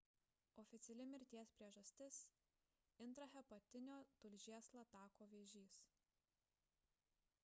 oficiali mirties priežastis – intrahepatinio tulžies latako vėžys